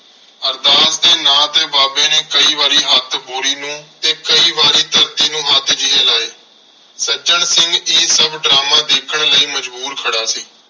ਅਰਦਾਸ ਦੇ ਨਾਂ ਤੇ ਬਾਬੇ ਨੇ ਕਈ ਵਾਰੀ ਹੱਥ ਬੋਰੀ ਨੂੰ ਤੇ ਕਈ ਵਾਰੀ ਧਰਤੀ ਨੂੰ ਹੱਥ ਜਿਹੇ ਲਾਏ। ਸੱਜਣ ਸਿੰਘ ਇਹ ਸਭ ਡਰਾਮਾ ਦੇਖਣ ਲਈ ਮਜਬੂਰ ਖੜ੍ਹਾ ਸੀ।